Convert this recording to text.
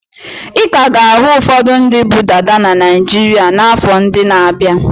Ị ka ga-ahụ ụfọdụ ndị bu dada na Naịjirịa n'afọ ndị na-abịa.